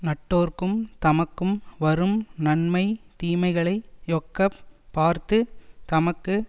நட்டோர்க்கும் தமக்கும் வரும் நன்மை தீமைகளை யொக்கப் பார்த்து தமக்கு